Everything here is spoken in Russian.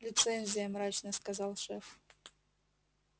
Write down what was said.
лицензия мрачно сказал шеф